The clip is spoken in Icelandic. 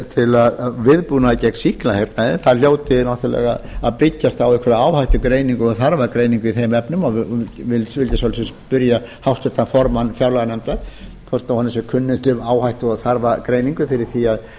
til vígbúnaðar gegn sýklahernaði hljóti náttúrlega að byggjast á einhverja áhættugreiningu og þarfagreiningu í þeim efnum og vildi spyrja háttvirtan formann fjárlaganefndar hvort honum sé kunnugt um áhættu og þarfagreiningu fyrir því